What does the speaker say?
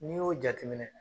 N'i y'o jateminɛ